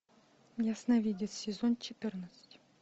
ясновидец сезон четырнадцать